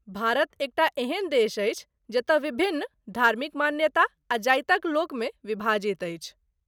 भारत एकटा एहन देश अछि जतय विभिन्न धार्मिक मान्यता आ जातिक लोक मे विभाजित अछि।